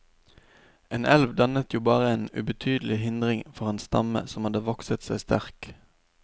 En elv dannet jo bare en ubetydelig hindring for en stamme som hadde vokset seg sterk.